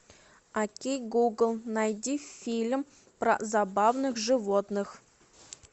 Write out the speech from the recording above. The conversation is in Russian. окей гугл найди фильм про забавных животных